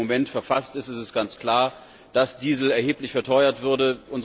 So, wie er im Moment verfasst ist, ist es ganz klar, dass Diesel erheblich verteuert würde.